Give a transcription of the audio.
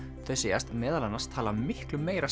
þau segjast meðal annars tala miklu meira